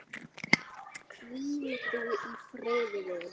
Hvíl þú í friði, vinur.